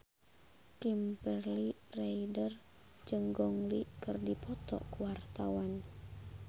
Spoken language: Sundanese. Kimberly Ryder jeung Gong Li keur dipoto ku wartawan